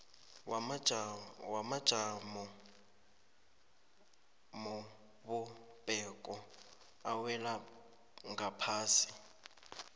wamajamobumbeko awela ngaphasi